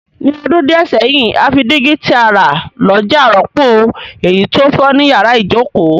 Ní odún díẹ̀ sẹ́hìn, a fi dígí ti a rà lójà rọ́pò èyí to fo ni yàrá ìjoko